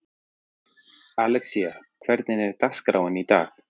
Alexía, hvernig er dagskráin í dag?